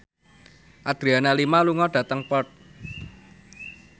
Adriana Lima lunga dhateng Perth